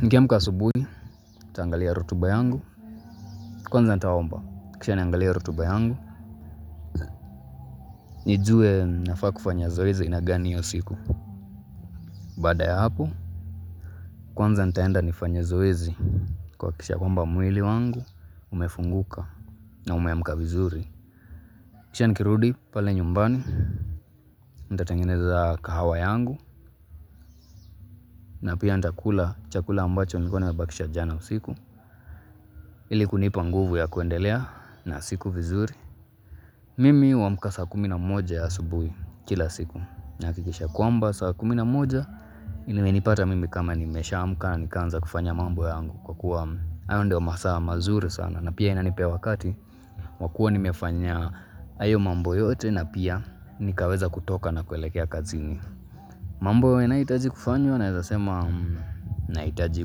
Nikiamka asubuhi, nitaangalia rotuba yangu, kwanza nitaomba, kisha niangalie rotuba yangu, nijue nafaa kufanya zoezi aina gani hiyo siku. Baada ya hapo, kwanza nitaenda nifanye zoezi kuhakikisha kwamba mwili wangu, umefunguka na umeamka vizuri. Kisha nikirudi, pale nyumbani, nitatangeneza kahawa yangu, na pia nitakula chakula ambacho nilikuwa nimebakisha jana usiku, ili kunipa nguvu ya kuendelea na siku vizuri. Mimi huamka saa kumi na moja ya asubuhi kila siku nahakikisha kwamba saa kumi na moja imenipata mimi kama nimesha amka na nikaanza kufanya mambo yangu kwa kuwa hayo ndio masaa mazuri sana na pia inanipea wakati wa kuwa nimefanya hayo mambo yote na pia nikaweza kutoka na kuelekea kazini. Mambo yanayohitaji kufanywa naweza sema nahitaji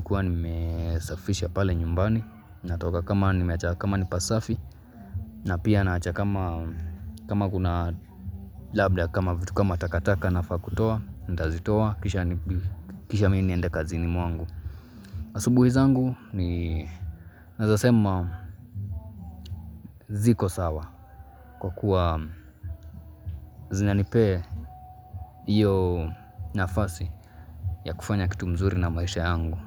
kuwa nimesafisha pale nyumbani natoka kama nimeacha kama ni pasafi. Na pia naacha kama kama kuna labda kama vitu kama takataka nafaa kutoa nitazitoa kisha mimi niende kazini mwangu. Asubuhi zangu ni naweza sema ziko sawa kwa kuwa zinanipee hiyo nafasi ya kufanya kitu mzuri na maisha yangu.